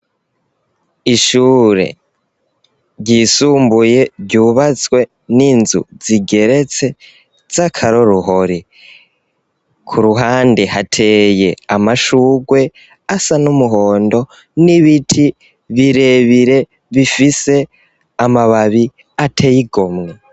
Ishuri ry'isumbuye ryubatswe n'inzu zigeretse zakororuhore ku ruhande hateye amashurwe asa n'umuhondo n'ibiti birebire bifise amababi ateye igomwe